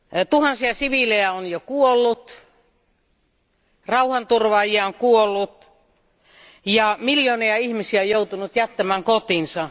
Tuhansia siviilejä on jo kuollut, rauhanturvaajia on kuollut, ja miljoonia ihmisiä on joutunut jättämään kotinsa.